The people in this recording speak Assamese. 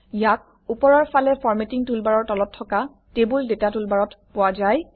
ইয়াক ওপৰৰ ফালে ফৰমেটিং টুলবাৰৰ তলত থকা টেবুল ডাটা টুলবাৰত পোৱা যায়